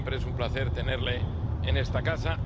Como siempre, es un placer tenerle en esta casa.